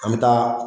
An bɛ taa